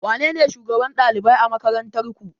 Wanene shugaban ɗalibai a makarantarku?